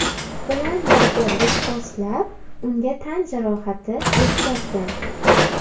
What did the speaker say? bilan birga do‘pposlab, unga tan jarohati yetkazgan.